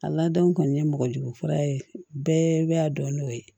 A ladon kɔni ye mɔgɔ jugu fɔlɔ ye bɛɛ bɛ a dɔn n'o ye